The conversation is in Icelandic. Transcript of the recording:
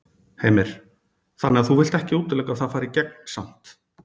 Heimir: Þannig að þú vilt ekki útiloka að það fari í gegn samt?